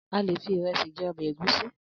Alè fi iresi je obe egusi